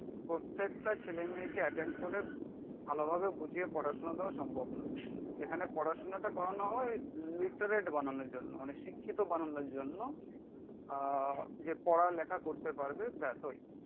প্রত্যেকটা ছেলে মেয়েকে এটেন্ড করে ভালো ভাবে বুঝিয়ে পড়াশুনা দেওয়া সম্ভব নয়। এখানে পড়াশুনাটা করানো হয় লিটারেট বানানোর জন্য, মানে শিক্ষিত বানানোর জন্য আহ যে পড়া লেখা করতে পারবে। ব্যাস ওই